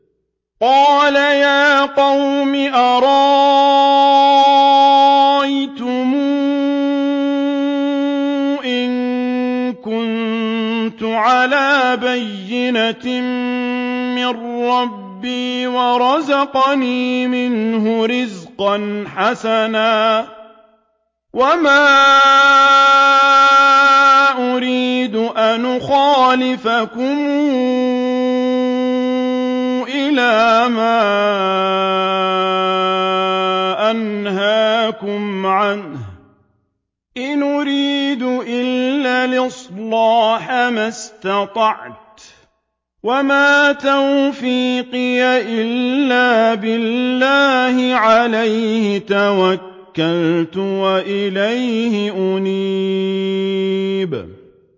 قَالَ يَا قَوْمِ أَرَأَيْتُمْ إِن كُنتُ عَلَىٰ بَيِّنَةٍ مِّن رَّبِّي وَرَزَقَنِي مِنْهُ رِزْقًا حَسَنًا ۚ وَمَا أُرِيدُ أَنْ أُخَالِفَكُمْ إِلَىٰ مَا أَنْهَاكُمْ عَنْهُ ۚ إِنْ أُرِيدُ إِلَّا الْإِصْلَاحَ مَا اسْتَطَعْتُ ۚ وَمَا تَوْفِيقِي إِلَّا بِاللَّهِ ۚ عَلَيْهِ تَوَكَّلْتُ وَإِلَيْهِ أُنِيبُ